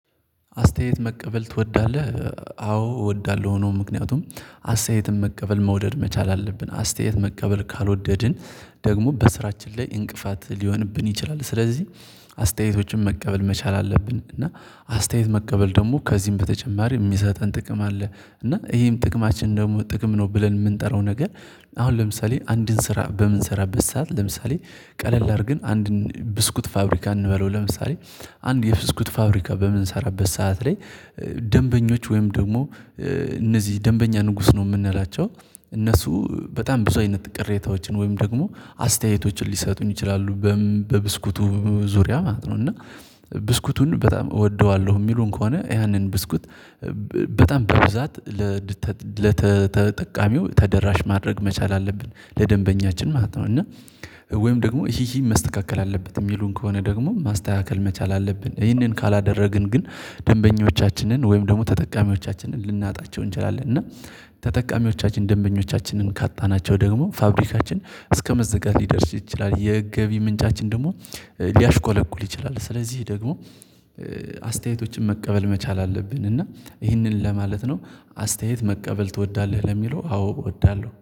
አስተያየት መቀበል ትወዳለህ? አዎ እወዳለሁ ነው። ምክንያቱም አስተያየትን መቀበል መውደድ መቻል አለብን አስተያየት መቀበል ካልወደድን ደግሞ በስራችን ላይ እንቅፋት ሊሆንብን ይችላል። ስለዚህ አስተያየቶችን መቀበል መቻል አለብን። እና አስተያየት መቀበል ደግሞ ከዚህም በተጨማሪ የሚሰጠን ጥቅም አለ እና ይሄም ጥቅማችን ደግሞ ጥቅም ነው ብለን የምንጠራው ነገር። አሁን ለምሳሌ አንድን ስራ በምንሰራበት ሰዓት ለምሳሌ ቀለል አድርገን አንድን ብስኩት ፋብሪካ እንበለው ለምሳሌ አንድ የብስኩት ፋብሪካ በምንሰራበት ሰዓት ላይ። ደንበኞች ወይም ደግሞ እነዚህ ደንበኛ ንጉስ ነው የምንላቸው እነሱ በጣም ብዙ አይነት ቅሬታዎችን ወይም ደግሞ አስተያየቶችን ሊሰጡን ይችላሉ በብስኩቱ ዙሪያ ማለት ነው። እና ብስኩቱን በጣም እወደዋለሁ የሚሉን ከሆነ ያንን ብስኩት በጣም በብዛት ለተጠቃሚው ተደራሽ ማድረግ መቻል አለብን ለደንበኛችን ማለት ነው። እና ወይም ደግሞ ይሄ ይሄ መስተካከል አለበት የሚሉን ከሆነ ደግሞ ማስተካከል መቻል አለብን ይሄንን ካላደረግን ግን ደንበኞቻችንን ወይም ደግሞ ተጠቃሚዎቻችንን ልናጣቸው እንችላለን። እና ተጠቃሚዎቻችን ደንበኞቻችንን ካጣናቸው ደግሞ ፋብሪካችን እስከመዘጋት ሊደርስ ይችላል የገቢ ምንጫችን ደግሞ ሊያሽቆለቁል ይችላል። ስለዚህ ደግሞ አስተያየቶችን መቀበል መቻል አለብን። እና ይህንን ለማለት ነው አስተያየት መቀበል ትወዳለህ ለሚለው አዎ እወዳለሁ